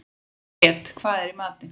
Grét, hvað er í matinn?